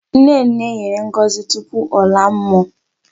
Nnenne nyèrè ngọzi tupu ọla mmụọ.